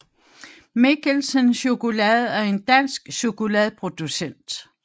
Michelsen Chokolade er en dansk chokoladeproducent